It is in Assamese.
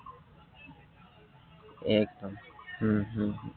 একদম উম উম